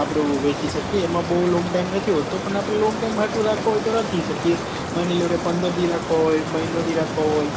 આપડો વેચી શકીએ એમાં બૌ long time નથી હોતું પન આપડે long time માટે રાખવા હોય તો રાખી શકીએ માની લો કે પંદર દી રાખવા હોય મહિનો દી રાખવા હોય